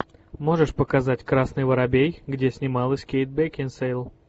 можешь показать красный воробей где снималась кейт бекинсейл